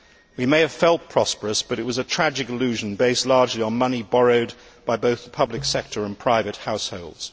We may have felt prosperous but it was a tragic illusion based largely on money borrowed both by the public sector and private households.